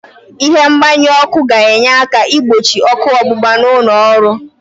Ịhe mgbanyu ọ́kụ́ ga-enye aka igbochi ọ́kụ́ ọgbụgba n'ụlọ ọrụ.